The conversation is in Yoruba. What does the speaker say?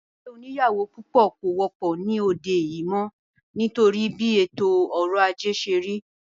Ìdílé oníyàwó púpọ̀ kò wọ́pọ̀ ní òde yìí mọ́ nítorí bí ètò ọrọ̀ ajé ṣé rí